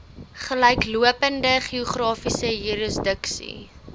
gelyklopende geografiese jurisdiksie